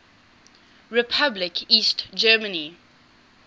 republic east germany